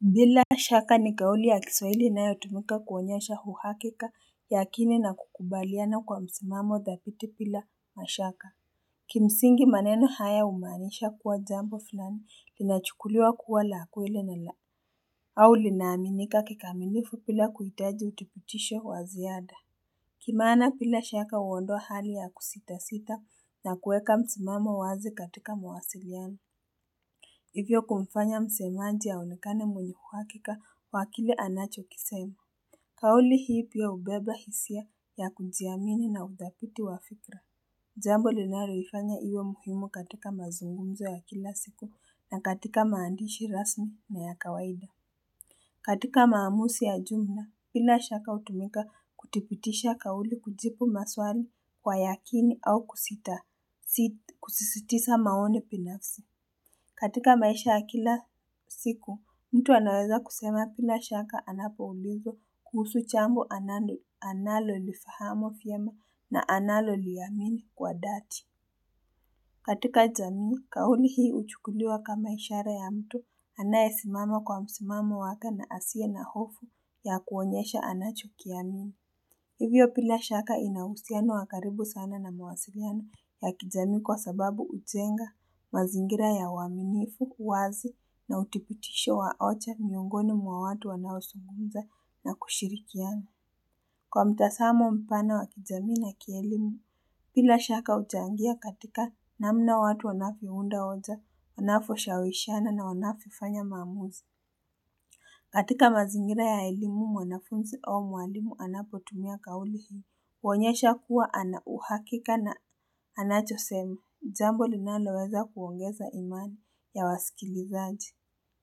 Bila shaka ni kauli ya Kiswaili inayotumika kuonyesha uhakika ya akini na kukubaliana kwa msimamo thabiti bila mashaka Kimsingi maneno haya humaanisha kuwa jambo fulani linachukuliwa kuwa la kweli na la au linaaminika kikamilifu bila kuhitaji uthibitisho wa ziada Kimaana bila shaka huondoa hali ya kusitasita na kuweka msimamo wazi katika mawasiliano Hivyo kumfanya msemaji aonekane mwenye uhakika wa kile anachokisema. Kauli hii pia hubeba hisia ya kujiamini na uthabiti wa fikra. Jambo linaloifanya iwe muhimu katika mazungumzo ya kila siku na katika maandishi rasmi na ya kawaida. Katika maamuzi ya jumla bila shaka hutumika kuthibitisha kauli kujibu maswali kwa yakini au kusisitiza maoni binafsi. Katika maisha ya kila siku, mtu anaweza kusema bila shaka anapoulizwa kuhusu jambo analolifahamu vyema na analoliamini kwa dhati. Katika jamii, kauli hii huchukuliwa kama ishara ya mtu anayesimama kwa msimamo wake na asiye na hofu ya kuonyesha anachukia nini. Hivyo bila shaka ina uhusiano wa karibu sana na mawasiliano ya kijamii kwa sababu hujenga mazingira ya waaminifu uwazi na uthibitisho wa hoja miongoni mwa watu wanaozungumza na kushirikiana. Kwa mtazamo mpana wa kijamii na kielimu, bila shaka huchangia katika namna watu wanavyounda hoja, wanavyoshawishana na wanavyofanya maamuzi. Katika mazingira ya elimu mwanafunzi au mwalimu anapotumia kauli hii. Huonyesha kuwa ana uhakika na anachosema. Jambo linaloweza kuongeza imani ya wasikilizaji.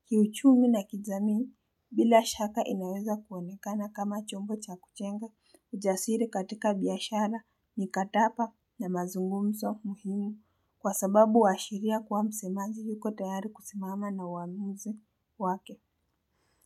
Kiuchumi na kijamii bila shaka inaweza kuonekana kama chombo cha kujenga. Ujasiri katika biashara mikataba na mazungumzo muhimu. Kwa sababu huashiria kuwa msemaji yuko tayari kusimama na uamuzi wake.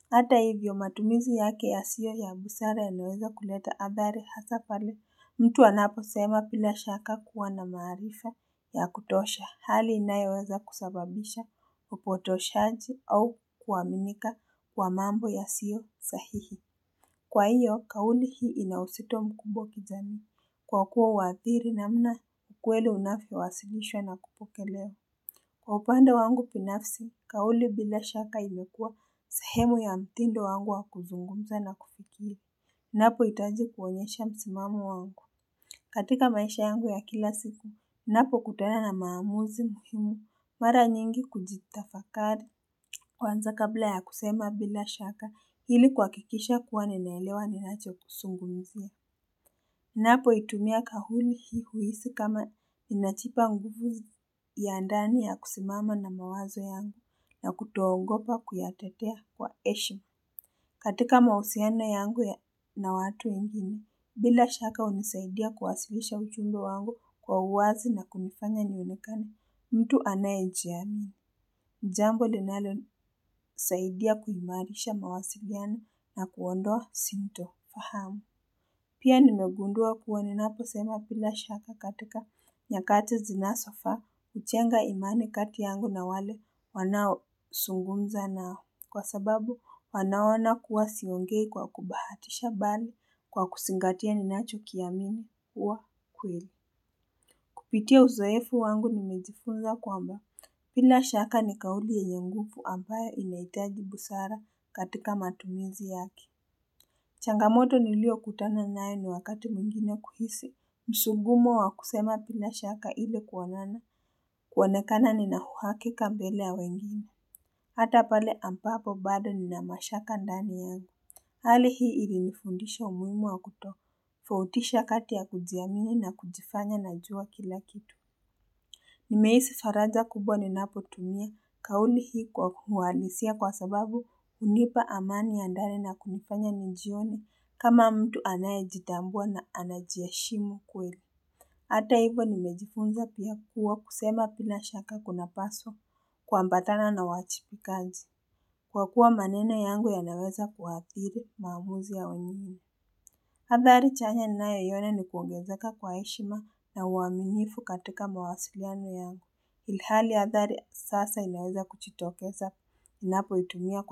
Hata hivyo matumizi yake yasiyo ya busara yanaweza kuleta athari hasa pale mtu anaposema bila shaka kuwa na maarifa ya kutosha hali inayoweza kusababisha upotoshaji au kuaminika kwa mambo yasiyo sahihi. Kwa hiyo, kauli hii ina uzito mkubwa kijamii kwa kuwa huathiri namna ukweli unavyowasilishwa na kupokelewa. Kwa upande wangu binafsi, kauli bila shaka imekuwa sehemu ya mtindo wangu wa kuzungumza na kufikiri. Ninapohitaji kuonyesha msimamo wangu. Katika maisha yangu ya kila siku, ninapokutana na maamuzi muhimu mara nyingi kujitafakari. Kwanza kabla ya kusema bila shaka ili kuhakikisha kuwa ninaelewa ninachozungumzia. Ninapoitumia kauli hii huhisi kama ninajipa nguvu ya ndani ya kusimama na mawazo yangu na kutoogopa kuyatetea kwa heshima. Katika mahusiano yangu na watu wengine, bila shaka hunisaidia kuwasilisha ujumbe wangu kwa uwazi na kunifanya nioenekane mtu anayejiamini. Jambo linalonisaidia kuimarisha mawasiliano na kuondoa sintofahamu. Pia nimegundua kuwa ninaposema bila shaka katika nyakati zinazofaa. Hujenga imani kati yangu na wale wanaozungumza nao. Kwa sababu wanaona kuwa siongei kwa kubahatisha bali kwa kuzingatia ninachokiamini kuwa kweli. Kupitia uzoefu wangu nimejifunza kwamba bila shaka ni kauli yenye nguvu ambayo inahitaji busara katika matumizi yake. Changamoto niliyokutana nayo ni wakati mwingine kuhisi. Msukumo wa kusema bila shaka ile kuonana, kuonekana nina uhakika mbele ya wengine. Hata pale ampapo bado nina mashaka ndani yangu. Hali hii ilinifundisha umuhimu wa kutofautisha kati ya kujiamini na kujifanya najua kila kitu. Nimehisi faraja kubwa ninapotumia kauli hii kwa kuwalisia kwa sababu hunipa amani ya ndani na kunifanya nijione kama mtu anayejitambua na anajiheshimu kweli. Hata hivyo nimejifunza pia kuwa kusema bila shaka kunapasa kuambatana na wajibikaji. Kwa kuwa maneno yangu yanaweza kuathiri maamuzi ya wengine. Athari chanya ninayoiona ni kuongezeka kwa heshima na uaminifu katika mawasiliano yangu. Ilhali ya athari sasa inaweza kujitokeza ninapoitumia.